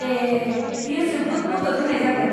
ए, बेयो जोबोद मदद होनाय जागोन।